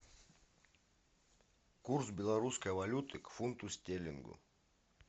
курс белорусской валюты к фунту стерлингу